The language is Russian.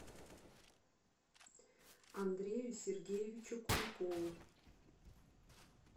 андрею сергеевичу куликову